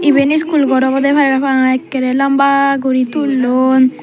eben school gor oboda parapang akara lamba guri tullon.